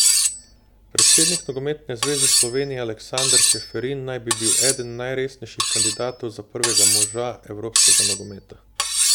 Predsednik Nogometne zveze Slovenije Aleksander Čeferin naj bi bil eden najresnejših kandidatov za prvega moža evropskega nogometa.